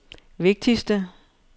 vigtigste